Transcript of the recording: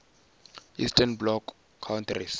eastern bloc countries